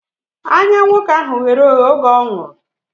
Anya nwoke ahụ ghere oghe oge ọ nwụrụ